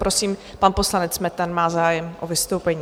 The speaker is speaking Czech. Prosím, pan poslanec Metnar má zájem o vystoupení.